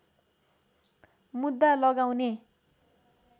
मुद्दा लगाउने